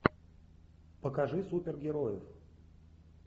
покажи супергероев